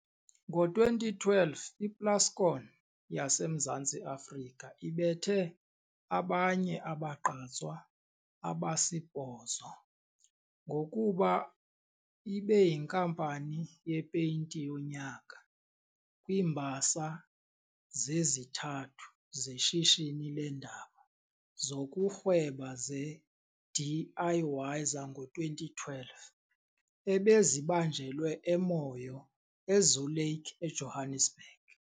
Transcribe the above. Ngo-2012 iPlascon yaseMzantsi Afrika ibethe abanye abagqatswa abasibhozo ngokuba ibeyiNkampani yePeyinti yoNyaka kwiiMbasa zezithathu zeShishini leeNdaba zokuRhweba zeDIY zango-2012 ebezibanjelwe eMoyo eZoo Lake, eJohannesburg.